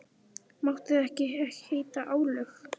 Máttu þetta ekki heita álög?